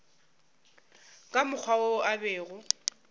ka mokgwa wo a bego